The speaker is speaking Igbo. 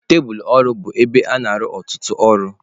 Tebụlụ ọrụ bụ ebe a na-arụ ọtụtụ ọrụ.